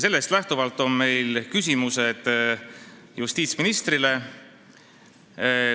Sellest lähtuvalt on meil justiitsministrile küsimused.